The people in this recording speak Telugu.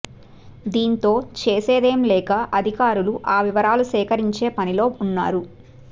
దీంతో చేసేదేం లేక అధికారులు ఆ వివరాలు సేకరించే పనిలో ఉన్నారు